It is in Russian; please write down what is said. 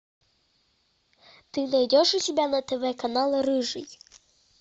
ты найдешь у себя на тв канал рыжий